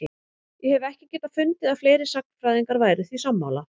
Ég hef ekki getað fundið að fleiri sagnfræðingar væru því sammála?